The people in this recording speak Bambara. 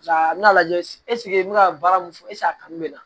A bɛna lajɛ n bɛ ka baara mun fɔ a kanu bɛ n na